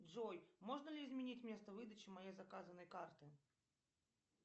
джой можно ли изменить место выдачи моей заказанной карты